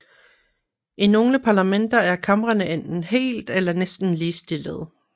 I nogle parlamenter er kamrene enten helt eller næsten ligestillede